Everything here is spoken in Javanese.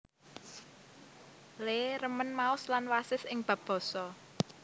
Lee remén maos lan wasis ing bab basa